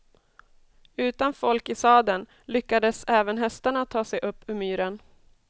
Utan folk i sadeln lyckades även hästarna ta sig upp ur myren.